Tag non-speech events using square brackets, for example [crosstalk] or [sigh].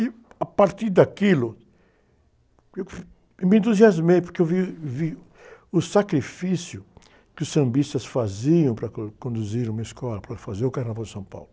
E, a partir daquilo, eu [unintelligible] me entusiasmei, porque eu vi, vi o sacrifício que os sambistas faziam para co, conduzir uma escola, para fazer o Carnaval de São Paulo.